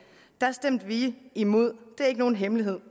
stemte vi imod det er ikke nogen hemmelighed